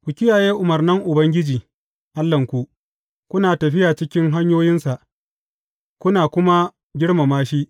Ku kiyaye umarnan Ubangiji Allahnku, kuna tafiya cikin hanyoyinsa, kuna kuma girmama shi.